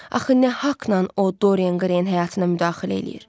Axı nə haqnan o Dorian qreynin həyatına müdaxilə eləyir?